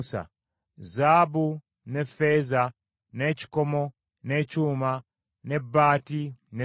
Zaabu, ne ffeeza, n’ekikomo, n’ekyuma, n’ebbaati, n’essasi